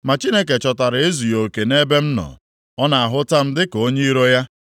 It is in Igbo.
Ma Chineke chọtara ezughị oke nʼebe m nọ; ọ na-ahụta m dịka onye iro ya.